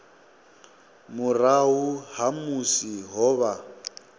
murahu ha musi ho vha